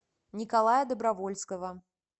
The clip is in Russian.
николая добровольского